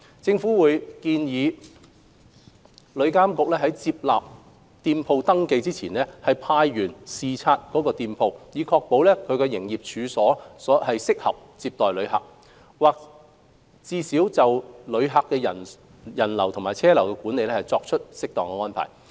政府會建議旅監局在接納店鋪登記前，派員視察該店鋪，以確保其營業處所適合接待旅客，或最少已就旅客人流和車流的管理作出適當安排。